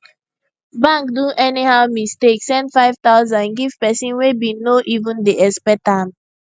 bank do anyhow mistake send 5000 give person wey bin no even dey expect am